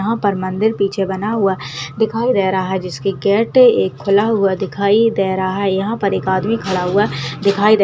यहाँ पर मंदिर पीछे बना हुआ दिखाई दे रहा है जिसकी गेट एक खुला हुआ दिखाई दे रहा है यहाँ पर एक आदमी खड़ा हुआ दीखाई दे रहा --